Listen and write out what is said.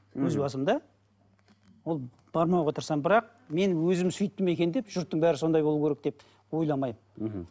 өз басым да ол бармауға тырысамын бірақ мен өзім сөйттім екен деп жұрттың бәрі сондай болу керек деп ойламаймын мхм